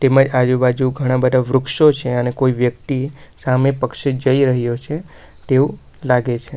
આજુબાજુ ઘણા બધા વૃક્ષો છે અને કોઈ વ્યક્તિ સામે પક્ષે જઈ રહ્યો છે તેવું લાગે છે.